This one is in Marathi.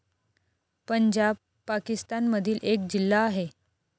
पंजाब, पाकिस्तान मधील एक जिल्हा आहे.